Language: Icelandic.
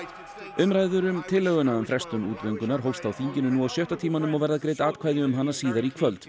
umræður um tillöguna um frestun útgöngunnar hófst í þinginu nú á sjötta tímanum og verða greidd atkvæði um hana síðar í kvöld